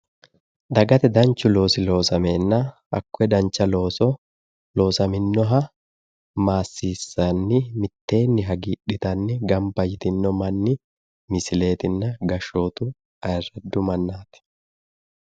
dagate danchu loosi loosameenna hakkoye dancha looso loosaminnoha maassiissanni mitteenni hagiidhitanni gamba yitinno manni misileetinna gashshootu ayiiraddu mannaati.